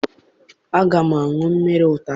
Aga m aṅụ mmiri ụtazị.